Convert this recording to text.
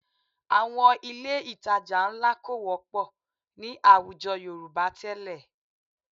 Àwọn ilé ìtajà ńlá kò wọ́pọ̀ ní àwùjọ Yorùbá tẹ́lẹ̀